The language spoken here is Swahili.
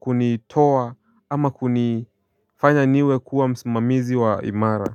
kunitoa ama kunifanya niwe kuwa msimamizi wa imara.